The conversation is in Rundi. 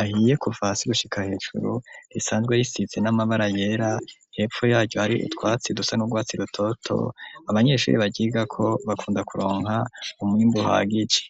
ahiye kuva hasi gushika hejuru risanzwe risize n'amabara yera, hepfo yaryo har’utwatsi dusa n'ugwatsi rutoto, abanyeshuri baryigako bakunda kuronka umwimbu uhagije.